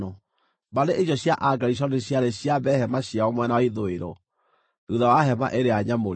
Mbarĩ icio cia Agerishoni ciarĩ ciambe hema ciao mwena wa ithũĩro, thuutha wa Hema-ĩrĩa-Nyamũre.